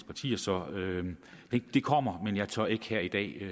partier så det kommer men jeg tør ikke her i dag give